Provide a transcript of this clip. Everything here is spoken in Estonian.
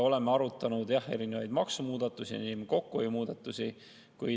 Oleme arutanud jah erinevaid maksumuudatusi ning kokkuhoiumuudatusi.